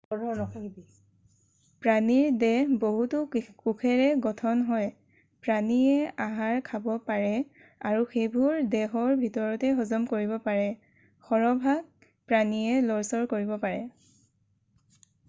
প্ৰাণীৰ দেহ বহুতো কোষেৰে গঠন হয় প্ৰাণীয়ে আহাৰ খাব পাৰে আৰু সেইবোৰ দেহৰ ভিতৰতে হজম কৰিব পাৰে সৰহভাগ প্ৰাণীয়ে লৰচৰ কৰিব পাৰে